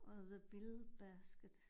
Og the bill basket